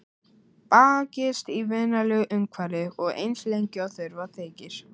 Bakist í vinalegu umhverfi og eins lengi og þurfa þykir.